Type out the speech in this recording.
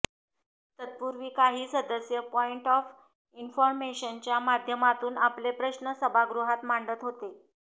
तत्पूर्वी काही सदस्य पॉईट ऑफ इन्फॉर्मेशनच्या माध्यमातून आपले प्रश्न सभागृहात मांडत होते